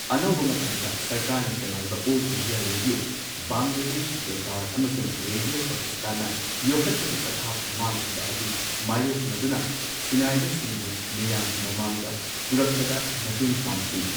ꯑꯅꯧꯕ ꯃꯇꯝꯗ, ꯁꯔꯀꯥꯔꯅ ꯆꯂꯥꯏꯕ all India radio, Bangladesh Betar, ꯑꯃꯁꯨꯡ ꯔꯦꯗꯤꯑꯣ ꯄꯥꯀꯤꯁꯇꯥꯟꯅ, ꯌꯣꯛꯈꯠꯄꯒꯤ ꯄꯊꯥꯞ ꯃꯥꯡꯈꯤꯕ ꯑꯗꯨ ꯃꯥꯌꯣꯛꯅꯗꯨꯅ, ꯁꯤꯟꯅꯥꯏꯕꯁꯤꯡꯕꯨ ꯃꯤꯌꯥꯝꯒꯤ ꯃꯃꯥꯡꯗ ꯄꯨꯔꯛꯄꯗ ꯃꯇꯦꯡ ꯄꯥꯡꯈꯤ꯫